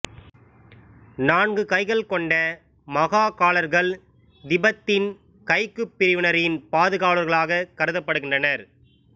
நான்கு கைகள் கொண்ட மகாகாலர்கள் திபெத்தின் கக்யு பிரிவினரின் பாதுவாலர்களாக கருதப்படுகின்றனர்